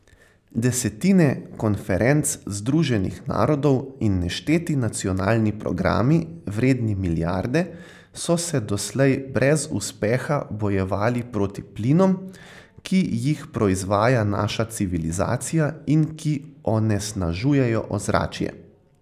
Desetine konferenc Združenih narodov in nešteti nacionalni programi, vredni milijarde, so se doslej brez uspeha bojevali proti plinom, ki jih proizvaja naša civilizacija in ki onesnažujejo ozračje.